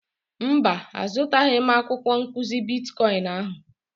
Mba, azụtaghị m akwụkwọ nkụzi bitkọịn ahụ.